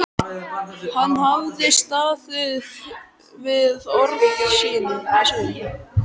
Hann hafði staðið við orð sín.